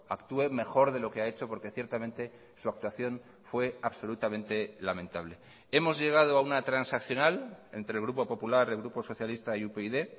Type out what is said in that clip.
actúe mejor de lo que ha hecho porque ciertamente su actuación fue absolutamente lamentable hemos llegado a una transaccional entre el grupo popular el grupo socialista y upyd